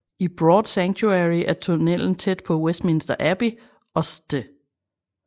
I Broad Sanctuary er tunnelen tæt på Westminster Abbey og St